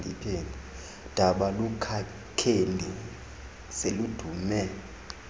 daba lukakeli seludume